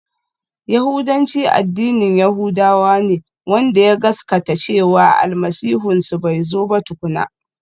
Yahudanci addinin yahudawa ne wanda ya gaskata cewa Almasihunsu bai zo ba tukuna.